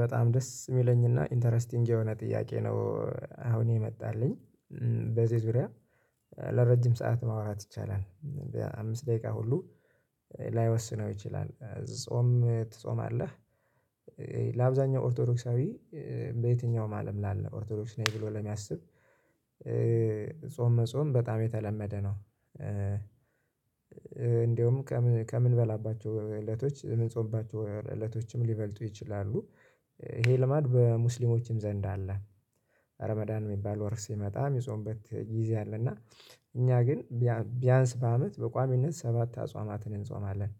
በጣም ደስ የሚለኝና ኢንተረስቲንግ የሆነ ጥያቄ ነው። አሁን የመጣልኝ። በዚህ ዙሪያ ለረጅም ሰዓት ማውራት ይቻላል። በአምስት ደቂቃ ሁሉ ላይወስነው ይችላል ጾም ትጾማለህ? ለአብዛኛው ኦርቶዶክሳዊ በየትኛውም አለም ላለ ኦርቶዶክስ ነኝ ብሎ ለሚያስብ ጾም መጾም በጣም የተለመደ ነው። እንደውም ከምንበላባቸው እለቶች ምንጾባቸው እለቶችም ሊበልጡ ይችላሉ ይሄ ልማድ በሙስሊሞችም ዘንድ አለ። አረ መዳን የሚባል ወር ሲመጣ የሚጾሙበት ጊዜ አለና እኛ ግን ቢያንስ በአመት በቋሚነት ሰባት አጽዋማትን እንጾማለን።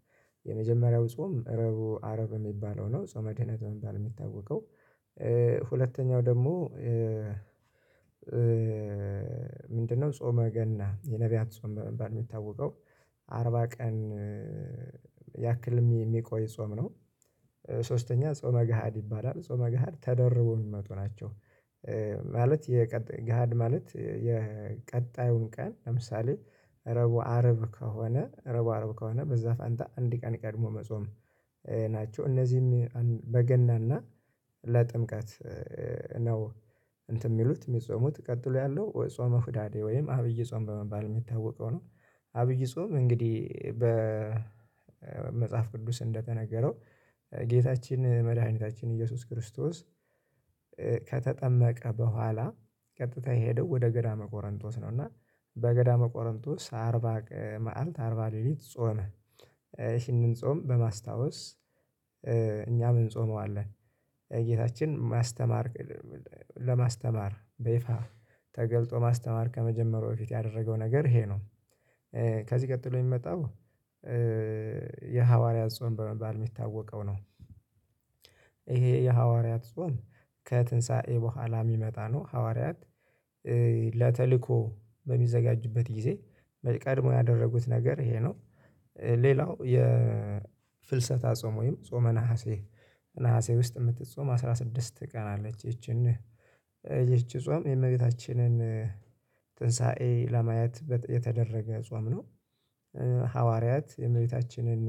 የመጀመሪያው ጾም አረቡ አርብ የሚባለው ነው ጾመ ድህነት በመባል የሚታወቀው። ሁለተኛው ደግሞ ምንድነው? ጾመ ገና የነብያት ጾም በመባል የሚታወቀው። አርባ ቀን ያክል የሚቆይ ጾም ነው። ሶስተኛ ጾመ ገሃድ ይባላል ጾመ ገሃድ ተደርቦ የሚመጡ ናቸው። ማለት ማለት የቀጣዩን ቀን ለምሳሌ ረቡ አረብ ከሆነ ረቡ አረብ ከሆነ በዛ ፋንታ አንድ ቀን ቀድሞ መጾም ናቸው። እነዚህም በገናና ለጥምቀት ነው። እንትን የሚሉት የሚጾሙት ቀጥሎ ያለው ጾመ ሁዳዴ ወይም አብይ ጾም በመባል የሚታወቀው ነው። አብይ ጾም እንግዲህ በመጽሐፍ ቅዱስ እንደተነገረው ጌታችን መድኃኒታችን ኢየሱስ ክርስቶስ ከተጠመቀ በኋላ ቀጥታ የሄደው ወደ ገዳመ ቆረንጦስ ነው። እና በገዳመ ቆረንጦስ አርባ ቀን አርባ ሌሊት ጾመ። ይህንን ጾም በማስታወስ እኛም እንጾመዋለን። ጌታችን የማስተማር ለማስተማር በይፋ ተገልጦ ማስተማር ከመጀመሩ በፊት ያደረገው ነገር ይሄ ነው። ከዚህ ቀጥሎ የሚመጣው የሐዋርያት ጾም በመባል የሚታወቀው ነው። ይሄ የሐዋርያት ጾም ከትንሳኤ በኋላ የሚመጣ ነው ሐዋርያት ለተልእኮ በሚዘጋጁበት ጊዜ ቀድሞ ያደረጉት ነገር ይሄ ነው። ሌላው የፍልሰታ ጾም ወይም ጾመ ነሀሴ ነሀሴ ውስጥ የምትጾም አስራ ስድስት ቀን አለች። ይቺን ይቺ ጾም የእመቤታችንን ትንሳኤ ለማየት የተደረገ ጾም ነው። ሐዋርያት የእመቤታችንን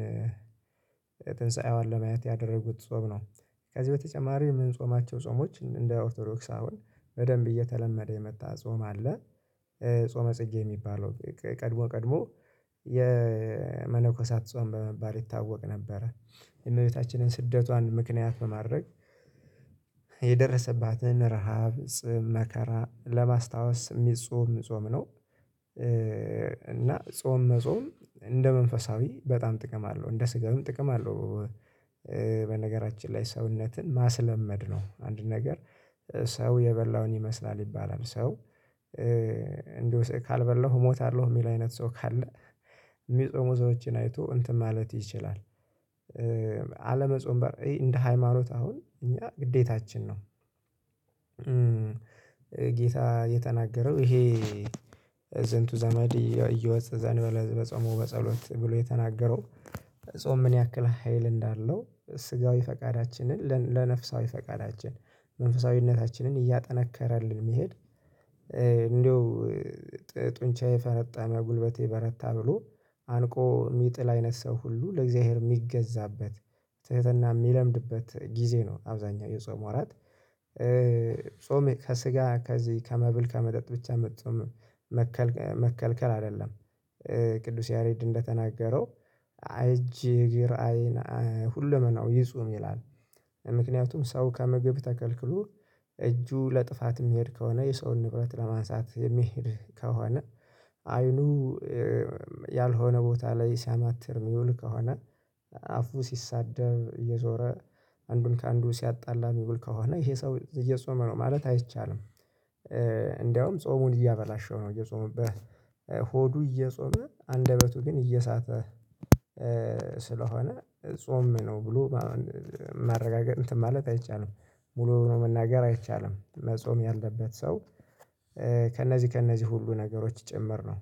ትንሳኤዋን ለማየት ያደረጉት ጾም ነው። ከዚህ በተጨማሪ ምን ጾማቸው ጾሞች እንደ ኦርቶዶክስ አሁን በደንብ እየተለመደ የመጣ ጾም አለ። ጾመ ጽጌ የሚባለው ቀድሞ ቀድሞ የመለኮሳት ጾም በመባል ይታወቅ ነበረ። እመቤታችንን ስደቷን ምክንያት በማድረግ የደረሰባትን ረሃብ ጥም መከራ ለማስታወስ የሚጾም ጾም ነው። እና ጾም መጾም እንደ መንፈሳዊ በጣም ጥቅም አለው እንደ ስጋዊም ጥቅም አለው። በነገራችን ላይ ሰውነትን ማስለመድ ነው አንድን ነገር ሰው የበላውን ይመስላል ይባላል ሰው እንዲሁ ካልበላሁ እሞታለሁ የሚል አይነት ሰው ካለ የሚጾሙ ሰዎችን አይቶ እንትን ማለት ይችላል። አለመጾም በራሱ እንደ ሃይማኖት አሁን እኛ ግዴታችን ነው። ጌታ የተናገረው ይሄ ዘንቱ ዘመድ እየወጸዘን በጸሞ በጸሎት ብሎ የተናገረው። ጾም ምን ያክል ሀይል እንዳለው ስጋዊ ፈቃዳችንን ለነፍሳዊ ፈቃዳችን መንፈሳዊነታችንን እያጠናከረልን የሚሄድ እንደው ጡንቻ ፈረጠመ ጉልበቴ በረታ ብሎ አንቆ የሚጥል አይነት ሰው ሁሉ ለእግዚአብሔር የሚገዛበት ትህትና የሚለምድበት ጊዜ ነው። አብዛኛው የጾም ወራት ጾም ከስጋ ከዚህ ከመብል ከመጠጥ ብቻ መከልከል መከልከል አይደለም። ቅዱስ ያሬድ እንደተናገረው አጅ እግር አይን ሁለመናው ይፁም ይላል። ምክንያቱም ሰው ከመግብ ተከልክሎ እጁ ለጥፋት የሚሄድ ከሆነ የሰውን ንብረት ለማንሳት የሚሄድ ከሆነ አይኑ ያልሆነ ቦታ ላይ ሲያማትር የሚውል ከሆነ አፉ ሲሳደብ እየዞረ አንዱን ከአንዱ ሲያጣላ ሚብል ከሆነ ይሄ ሰው እየጾመ ነው ማለት አይቻልም። እንደውም ጾሙን እያበላሸው ነው እየጾመበት ሆዱ እየጾመ አንደበቱ ግን እየሳተ ስለሆነ ጾም ነው ብሎ ማረጋገጥ ማለት አይቻልም። ሙሉ መናገር አይቻልም መጾም ያለበት ሰው ከነዚህ ከነዚህ ሁሉ ነገሮች ጭምር ነው